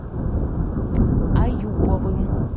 аюповым